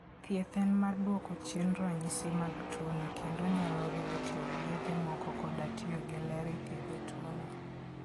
Thieth en mar duoko chien ranyisi mag tuwono kendo onyalo riwo tiyo gi yedhe moko koda tiyo gi ler e thiedho tuwono.